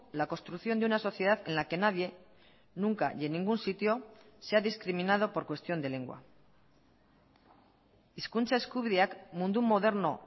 la construcción de una sociedad en la que nadie nunca y en ningún sitio se ha discriminado por cuestión de lengua hizkuntza eskubideak mundu moderno